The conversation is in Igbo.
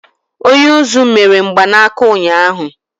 Onye uzú mere mgbanaka ụnyahụ.